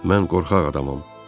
Mən qorxaq adamam.